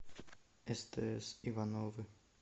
стс ивановы